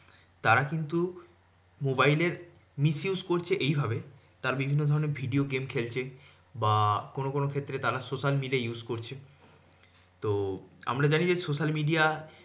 তারা কিন্তু mobile এর misuse করছে এইভাবে, তার বিভিন্ন ধরণের video game খেলছে। বা কোনো কোনো ক্ষেত্রে তারা social media use করছে। তো আমরা জানি যে social media